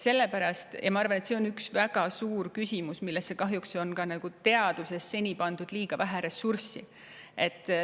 Ma arvan, et see on üks väga suur küsimus, millesse on kahjuks teaduses seni pandud liiga vähe ressursse.